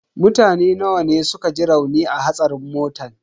Mutane nawa ne suka ji rauni a hatsarin motan?